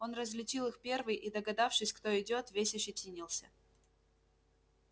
он различил их первый и догадавшись кто идёт весь ощетинился